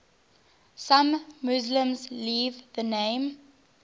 some muslims leave the name